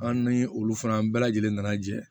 An ni olu fana bɛɛ lajɛlen nana jɛ